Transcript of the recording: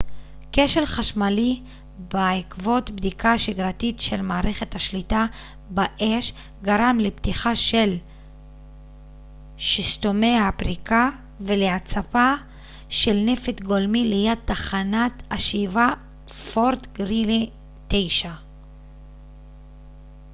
כשל חשמלי בעקבות בדיקה שגרתית של מערכת השליטה באש גרם לפתיחה של שסתומי הפריקה ולהצפה של נפט גולמי ליד תחנת השאיבה פורט גרילי 9